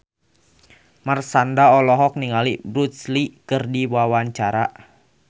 Marshanda olohok ningali Bruce Lee keur diwawancara